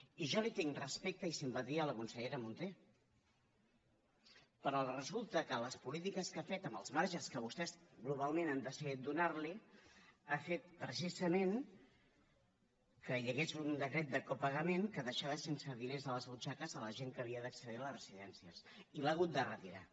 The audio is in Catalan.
i jo li tinc respecte i simpatia a la consellera munté però resulta que les polítiques que ha fet amb els marges que vostès globalment han decidit donar li han fet precisament que hi hagués un decret de copagament que deixava sense diners les butxaques de la gent que havia d’accedir a les residències i l’ha hagut de retirar